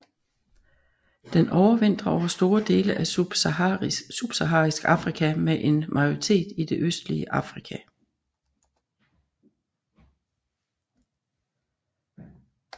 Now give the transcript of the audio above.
Den overvintrer over store dele af subsaharisk Afrika med en majoritet i det østlige Afrika